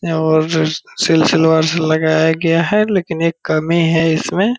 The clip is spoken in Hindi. और सिलसिलेवार से लगाया गया है लेकिन एक कमी है इसमें।